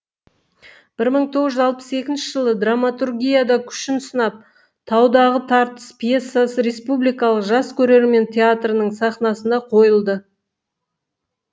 бір мың тоғыз жүз алпыс екінші жылы драматургияда күшін сынап таудағы тартыс пьесасы республикалық жас көрермен театрының сахнасында қойылды